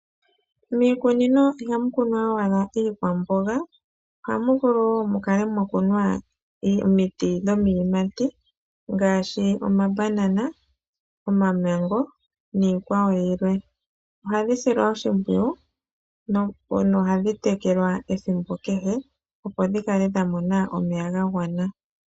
Miikunino ihamu kunwa owala iikwamboga, ohamu vulu wo okukunwa omiti dhiiyimati ngaashi omabanana, omamengo, niikwawo yilwe. Ohadhi silwa oshimpwiyu na ohadhi tekelwa ethimbo kehe, opo dhi mone omeya ga gwana.